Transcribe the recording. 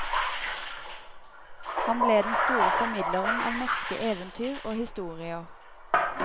Han ble den store formidleren av norske eventyr og historier.